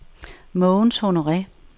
Mogens Honore